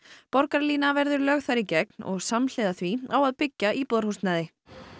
borgarlína verður lögð þar í gegn og samhliða því á að byggja íbúðarhúsnæði